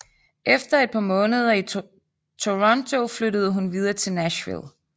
Efter et par måneder i Toronto flyttede hun videre til Nashville